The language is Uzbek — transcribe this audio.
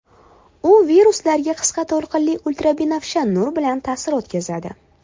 U viruslarga qisqa to‘lqinli ultrabinafsha nur bilan ta’sir o‘tkazadi.